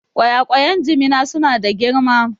Ƙwayaƙwan Jimina su na da girma